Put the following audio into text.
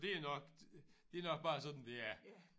Det er nok det er nok bare sådan det er